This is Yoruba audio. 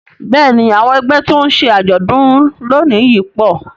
Bẹ́ẹ̀ni àwọn ẹgbẹ́ tí ó ń ṣe àjọ̀dún lónìí yìí pọ̀